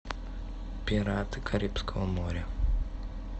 пираты карибского моря